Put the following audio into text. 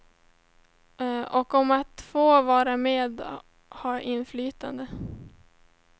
Och om att få vara med och ha inflytande.